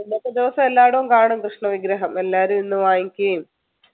ഇന്നത്തെ ദിവസം എല്ലായിടവും കാണും കൃഷ്ണവിഗ്രഹം എല്ലാരും ഇന്ന് വാങ്ങിക്കുകയും